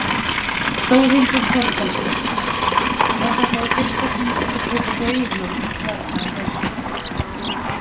Þórhildur Þorkelsdóttir: Er þetta í fyrsta sinn sem þú kaupir reiðhjól hérna á þessu uppboði?